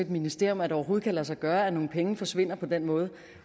ministerium at det overhovedet kan lade sig gøre at nogle penge forsvinder på den måde